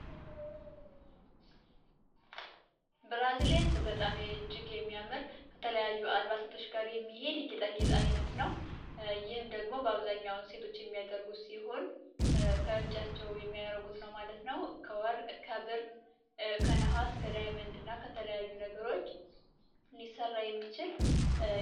ብራዝሌት በጣም እጅግ የሚያምር ከተለያዩ አልባሳቶች ጋር የሚሄድ የጌጣጌጥ አይነት ነው። በአብዛኛውን ሴቶች የሚያደርጉ ሲሆን ከእጃቸው የሚያረጉት ነው ማለት ነው። ከወርቅ ከብር እና ከነሃስ ከተለያዩ ነገሮች ሊሰራ የሚችል።